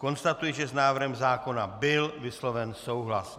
Konstatuji, že s návrhem zákona byl vysloven souhlas.